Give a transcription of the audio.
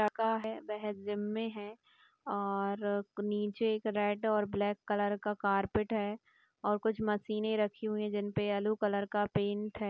एक लड़का है वे जिम मे है और नीचे एक रेड और ब्लैक कलर का कारपेट हैऔर कुछ मशीन रखी हुई है जिनपे येलो कलर का पैन्ट है।